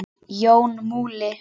Jón Múli